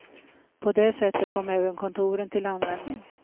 På det sättet kom även kontoren till användning.